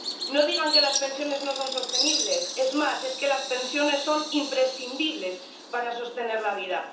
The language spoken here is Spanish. No digan que las pensiones no son sostenibles, es más, es que las pensiones son imprescindibles para sostener la vida.